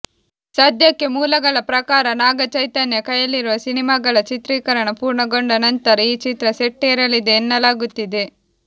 ಸದ್ಯಕ್ಕೆ ಮೂಲಗಳ ಪ್ರಕಾರ ನಾಗ ಚೈತನ್ಯ ಕೈಯಲ್ಲಿರುವ ಸಿನಿಮಾಗಳ ಚಿತ್ರೀಕರಣ ಪೂರ್ಣಗೊಂಡ ನಂತರ ಈ ಚಿತ್ರ ಸೆಟ್ಟೇರಲಿದೆ ಎನ್ನಲಾಗುತ್ತಿದೆ